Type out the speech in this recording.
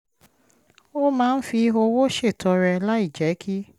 ó máa ń fi owó ṣètọrẹ láìjẹ́ kí